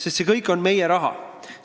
See kõik on meie raha!